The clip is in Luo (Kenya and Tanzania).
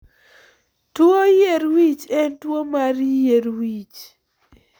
Tuo yier wich en tuwo mar yier wich.